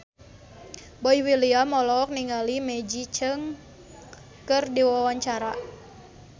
Boy William olohok ningali Maggie Cheung keur diwawancara